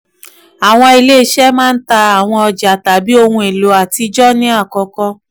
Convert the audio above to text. awọn ile-iṣẹ maa ń ta awọn ọja tàbí oun elo atijọ ní àkọ́kọ́.